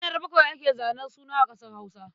Ranar bakwai ake zanen suna a ƙasar Hausa.